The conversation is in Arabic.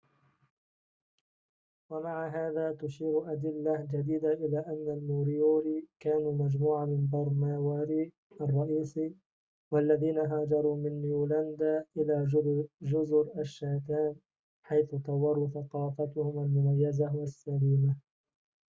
ومع هذا تشير أدلة جديدة إلى أن الموريوري كانوا مجموعة من بر ماوري الرئيسي واللذين هاجروا من نيويلاندا إلى جزر الشاتام حيث طوروا ثقافتهم المميزة والسلمية